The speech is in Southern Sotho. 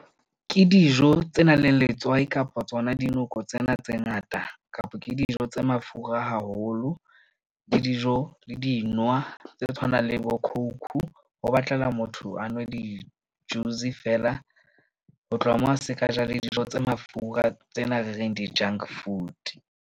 Ke dijo tse nang le letswai kapa tsona di noko tsena tse ngata, kapa ke dijo tse mafura haholo le dijo le dintwa tse tshwanang le bo coke-u. Ho batlela motho, a nwe di-juice feela ho tloha moo a se ka ja le dijo tse mafura tsena re reng di-junk food.